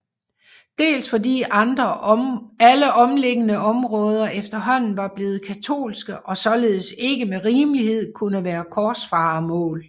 Dels fordi alle omliggende områder efterhånden var blevet katolske og således ikke med rimelighed kunne være korsfarermål